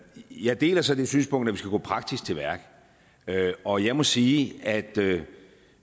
jeg deler så det synspunkt at vi skal gå praktisk til værks og jeg må sige at